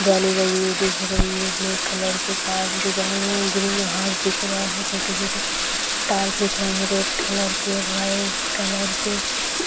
जाली लगी हुई दिख रही है ब्लैक कलर के कांच दिख रही है ग्रीन हाउस दिख रहा है छोटे-छोटे टॉर्च दिख रही है रेड कलर के व्हाइट कलर के --